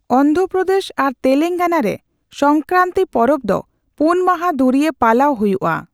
ᱚᱱᱫᱷᱨᱚᱯᱨᱚᱫᱮᱥ ᱟᱨ ᱛᱮᱞᱮᱝᱜᱟᱱᱟ ᱨᱮ ᱥᱚᱝᱠᱨᱟᱱᱛᱤ ᱯᱚᱨᱚᱵᱽ ᱫᱚ ᱯᱳᱱ ᱢᱟᱦᱟ ᱫᱷᱩᱨᱤᱭᱟᱹ ᱯᱟᱞᱟᱣ ᱦᱩᱭᱩᱜᱼᱟ ᱾